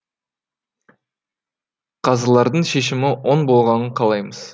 қазылардың шешімі оң болғанын қалаймыз